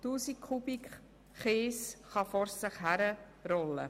Tausende von Kubikmetern Kies können vor sich hin rollen.